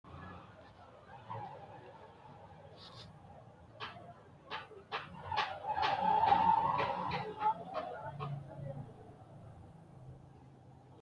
tini maa xawissanno misileeti ? mulese noori maati ? hiissinannite ise ? tini kultannori annuwa ikkitanna kuri annuwino daga araarsitannoreeti.